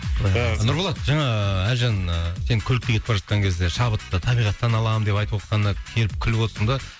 нұрболат жаңа әлжан ііі сен көлікке кетіп бара жатқан кезде шабытты табиғаттан алам деп айтывотқанына келіп күліп отырсың да